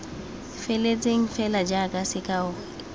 feletseng fela jaaka sekao l